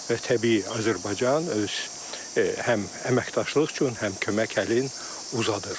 Və təbii Azərbaycan öz həm əməkdaşlıq üçün, həm kömək əlin uzadır.